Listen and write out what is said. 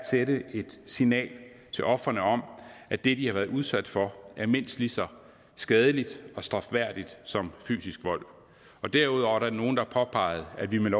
sende et signal til ofrene om at det de har været udsat for er mindst lige så skadeligt og strafværdigt som fysisk vold derudover er der nogen der påpeger at vi med